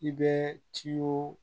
I bɛ ciw